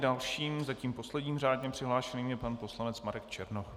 Dalším, zatím posledním řádně přihlášeným, je pan poslanec Marek Černoch.